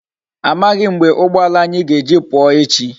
Amaghi m mgbe ugboala anyi ga eji puo echi